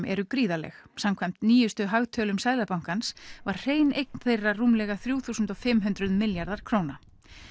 eru gríðarleg samkvæmt nýjustu hagtölum Seðlabankans var hrein eign þeirra rúmlega þrjú þúsund fimm hundruð milljarðar króna